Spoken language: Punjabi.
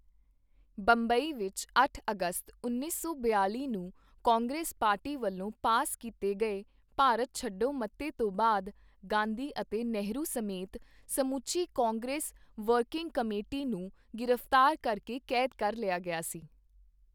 ਬੰਬਈ ਵਿੱਚ ਅੱਠ ਅਗਸਤ, ਉੱਨੀ ਸੌ ਬਿਆਲ਼ੀ ਨੂੰ ਕਾਂਗਰਸ ਪਾਰਟੀ ਵੱਲੋਂ ਪਾਸ ਕੀਤੇ ਗਏ ਭਾਰਤ ਛੱਡੋ ਮਤੇ ਤੋਂ ਬਾਅਦ, ਗਾਂਧੀ ਅਤੇ ਨਹਿਰੂ ਸਮੇਤ ਸਮੁੱਚੀ ਕਾਂਗਰਸ ਵਰਕੀੰਗ ਕਮੇਟੀ ਨੂੰ ਗ੍ਰਿਫਤਾਰ ਕਰ ਕੇ ਕੈਦ ਕਰ ਲਿਆ ਗਿਆ ਸੀ।